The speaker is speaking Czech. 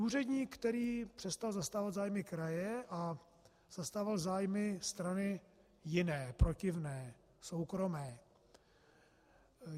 Úředník, který přestal zastávat zájmy kraje a zastával zájmy strany jiné, protivné, soukromé.